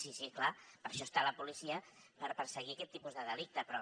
sí sí clar per això està la policia per perseguir aquest tipus de delicte però